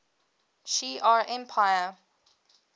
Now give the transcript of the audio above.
shi ar empire